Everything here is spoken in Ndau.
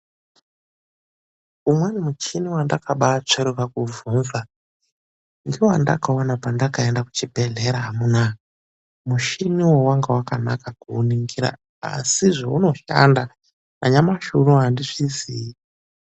UMWENI MUCHINI WANDAKABATSVERUKA KUBVUNZA NGEWANDAKAONA PANDAKAENDA KUCHIBEHLERA AMUNA ,MUCHINIWO WANGA WAKANAKA KUUNINGIRA, ASI ZVAUNOSHANDA NANYAMASI UNOUNO ANDIZVIZII.